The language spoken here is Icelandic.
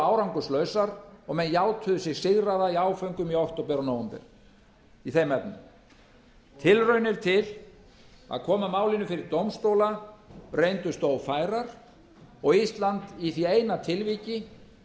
árangurslausar og menn játuðu sig sigraða í áföngum í október og nóvember í þeim efnum tilraunir til að koma málinu fyrir dómstóla reyndust ófærar og ísland í því eina tilviki